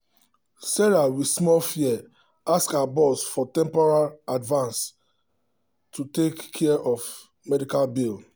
sarah with small fear ask her boss for temporary advance to take care of sudden medical bill.